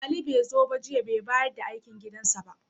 Ali bai zo ba jiya, bai bayar da aikin gidansa ba.